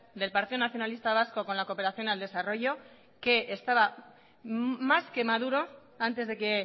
del partido nacionalista vasco con la cooperación al desarrollo que estaba más que maduro antes de que